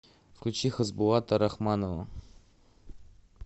включи хасбулата рахманова